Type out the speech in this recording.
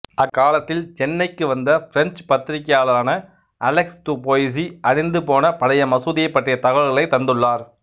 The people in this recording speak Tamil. அக்காலத்தில் சென்னேக்கு வந்த பிரெஞ்சுப் பத்திரிகையாளரான அலெக்சு துபோயிசு அழிந்துபோன பழைய மசூதியைப்பற்றிய தகவல்களைத் தந்துள்ளார்